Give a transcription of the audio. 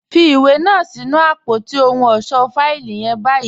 Fì iwé náà sí̀nù apótí òhùn ọṣọ́ fáìlì yẹ̀n ní báyì.